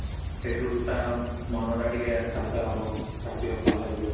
ହେଠୁ ତା ମନଟା ଟିକେ ହାଲ୍କା ହବ, ତାକୁ ଟିକେ ଭଲ ଲାଗିବ